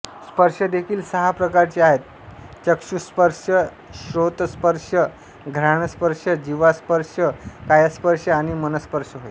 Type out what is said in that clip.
स्पर्शदेखील सहा प्रकारचे आहेत चक्षुस्पर्शश्रोतस्पर्शघ्राणस्पर्शजिव्हास्पर्शकायास्पर्श आणि मनस्पर्श होय